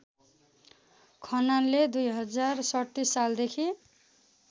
खनालले २०३७ सालदेखि